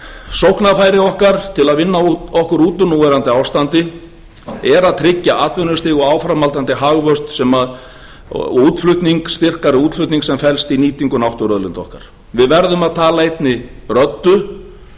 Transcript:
sóknarfæri okkar til að vinna okkur út úr núverandi ástandi er að tryggja atvinnustig og áframhaldandi hagvöxt og styrkari útflutning sem felst í nýtingu náttúruauðlinda okkar við verðum að tala einni röddu